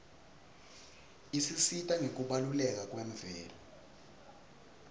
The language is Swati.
isisita ngekubaluleka kwemvelo